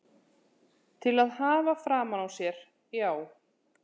Til að hafa framan á sér, já.